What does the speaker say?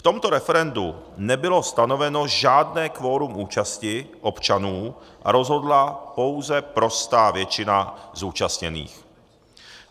V tomto referendu nebylo stanoveno žádné kvorum účasti občanů a rozhodla pouze prostá většina zúčastněných.